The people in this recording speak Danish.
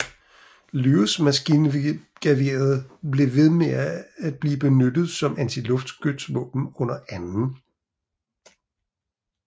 Lewis maskingeværet blev ved med at blive benyttet som antiluftskytsvåben under 2